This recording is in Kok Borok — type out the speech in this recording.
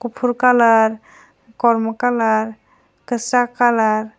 kufur colour kormo colour kasak colour .